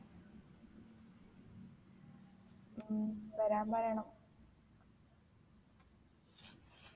ഉം വരാൻ പറയണം